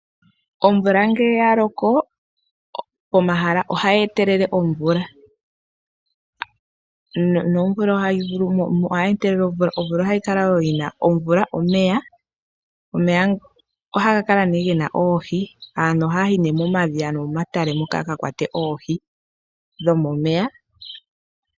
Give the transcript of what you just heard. Omvula ngele ya loko, pomahala ohayi talameke po omeya. Omvula omeya, ohaga kala ge na oohi. Aantu ohaya yi momadhiya nomomatale moka ya ka kwate oohi dhomomeya.